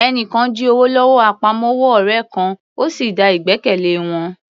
Ẹni kan jí owó lọ́wọ́ àpamọ́wọ́ ọ̀rẹ́ kan, ó sì da ìgbẹ́kẹ̀lé wọn